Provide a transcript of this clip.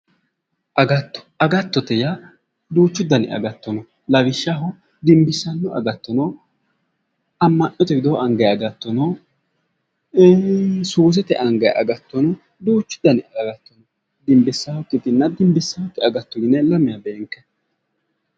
Agatto, agattote yaa duucha dani agatto no. Lawishshaho dimbissanno agatto no, amma'note widoo angayi agatto no, suusete angayi agatto no duuchu dani agatto dimbissayotenna dimbisaakkite yine lamewa beenkanni.